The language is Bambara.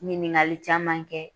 Ɲininkagali caman kɛ